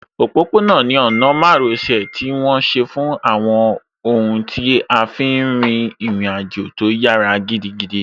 Òpópó-ọ̀nà ni ọ̀nà márosẹ̀ tí wọ́n ṣe fún àwọn ohun tí a fí n rin ìrìn àjò tó yára gidigidi